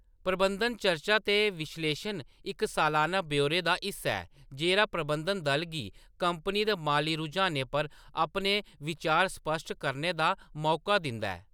प्रबंधन चर्चा ते विश्लेशन इक सालाना ब्यौरे दा हिस्सा ऐ जेह्‌‌ड़ा प्रबंधन दल गी कंपनी दे माली रुझानें पर अपने बिचार स्पश्ट करने दा मौका दिंदा ऐ।